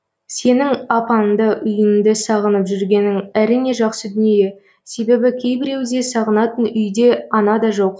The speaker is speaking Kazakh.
сенің апаңды үйіңді сағынып жүргенің әрине жақсы дүние себебі кейбіреуде сағынатын үйде анада жоқ